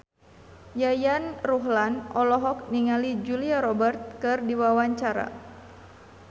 Yayan Ruhlan olohok ningali Julia Robert keur diwawancara